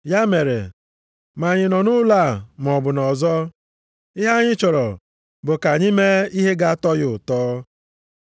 Ya mere, ma anyị nọ nʼụlọ a maọbụ nʼọzọ, ihe anyị chọrọ bụ ka anyị mee ihe ga-atọ ya ụtọ.